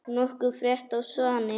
Nokkuð frétt af Svani?